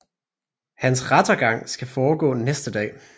Hans rettergang skal foregå næste dag